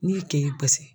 N'i ye ke basi